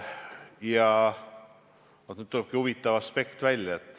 Ja nüüd tulebki välja üks huvitav aspekt.